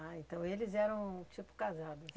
Ah, então eles eram tipo casados.